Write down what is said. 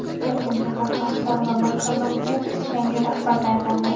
Toshkent shahar xalq ta’limi boshqarmasiga yangi rahbar tayinlandi.